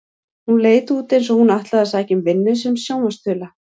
Hún leit út eins og hún ætlaði að sækja um vinnu sem sjónvarpsþula.